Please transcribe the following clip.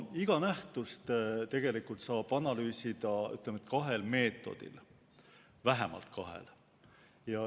Iga nähtust tegelikult saab analüüsida kahel meetodil, vähemalt kahel.